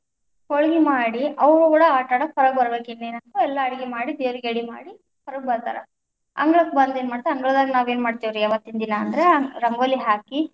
ಹೋಳಗಿ ಮಾಡಿ ಅವ್ವುಗಳ ಆಟಡಾಕ ಹೊರಗ್ಬರಬೇಕ್ ಇನ್ನೇನ್, ಎಲ್ಲಾ ಅಡಗಿ ಮಾಡಿ ದೇವರಿಗೆ ಯಡಿಮಾಡಿ ಹೊರಗ್ ಬರ್ತಾರ, ಅಂಗಳಕ್ಕ ಬಂದ ಏನ್ ಮಾಡ್ತಾರ ಅಂಗಳದಾಗ ನಾವೇನ್ ಮಾಡ್ತೀವ್ರಿ ಅವತ್ತಿನ ದಿನ ಅಂದ್ರ ರಂಗೋಲಿ ಹಾಕಿ.